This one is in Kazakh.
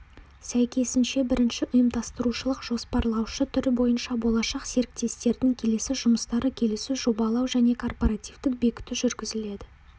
сәйкесінше бірінші ұйымдастырушылық-жоспарлаушы түрі бойынша болашақ серіктестердің келесі жұмыстарды келісу жобалау және корпоративтік бекіту жүргізіледі